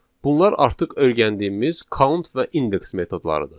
Bunlar artıq öyrəndiyimiz count və index metodlarıdır.